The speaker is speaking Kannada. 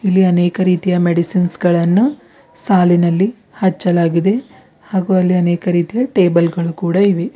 ಹಾಗೆ ಅನೇಕ ರೀತಿಯ ಮೆಡಿಸಿನ್ಸ್ ಗಳನ್ನು ಸಾಲಿನಲ್ಲಿ ಹಚ್ಚಲಾಗಿದೆ ಹಾಗು ಅಲ್ಲಿ ಅನೇಕ ರೀತಿಯ ಟೇಬಲ್ ಗಳು ಕೂಡ ಇವೆ.